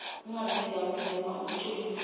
ingabe siyawudzinga umculo